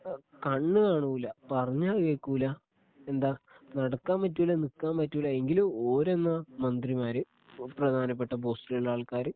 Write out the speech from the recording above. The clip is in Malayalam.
അ കണ്ണ് കാണൂല പറഞ്ഞാൽ കേക്കൂല എന്താ നടക്കാൻ പറ്റൂല നിക്കാൻ പറ്റൂല എങ്കിലും ഒരെന്ന മന്ത്രിമാര് പ്രധാനപ്പെട്ട പോസ്റ്റിലുള്ള ആൾക്കാര്